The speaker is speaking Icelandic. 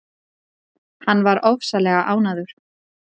Hann var bara ofsalega ánægður.